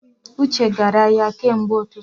Uche gara ahịa kemgbe ututu